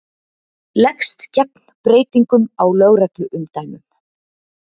Leggst gegn breytingum á lögregluumdæmum